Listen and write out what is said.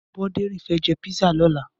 Aboderin fè jé pizza lòlá